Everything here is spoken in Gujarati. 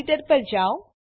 એડીટર પર જાવ